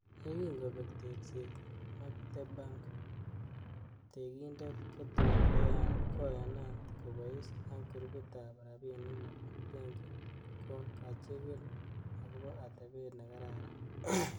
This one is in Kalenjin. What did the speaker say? Yekin kobek tekset, Mactebak tekindet kotun koyanat kobois ak grupit ab rabinik nebo benki, ko ka chigil agobo atebet nekararan.